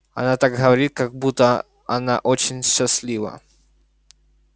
она так говорит как будто она очень счастлива